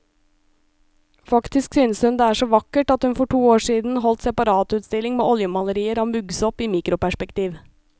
Faktisk synes hun det er så vakkert at hun for to år siden holdt separatutstilling med oljemalerier av muggsopp i mikroperspektiv.